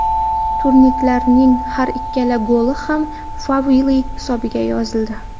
Turinliklarning har ikkala goli ham Favilli hisobiga yozildi.